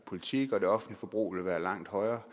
politik og det offentlige forbrug ville være langt højere